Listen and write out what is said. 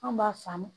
An b'a faamu